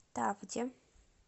тавде